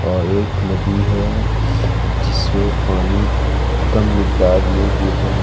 और एक नदी है जिसमें पानी कम मिताद में गिर रही।